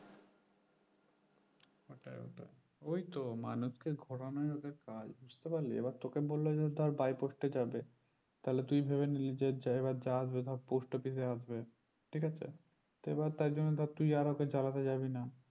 ওই তো মানুষকে ঘোরানো ওদের কাজ বুজতে পারলি এবার তোকে বললো যে ধর by post এ যাবে তাহলে তুই ভেবে নিলি যে যা এবার যা আসবে ধর post office এ আসবে ঠিক আছে তো এবার তাইজন্য ধর তুই আর ওকে জ্বালাতে যাবিনা